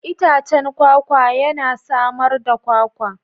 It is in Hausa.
Itacen kwakwa yana samar da Kwakwa.